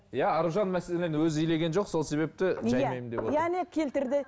иә аружан мәселен өзі илеген жоқ сол себепті жаймаймын деп отыр и әне келтірді